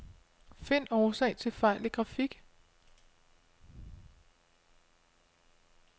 Find årsag til fejl i grafik.